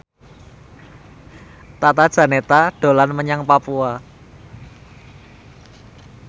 Tata Janeta dolan menyang Papua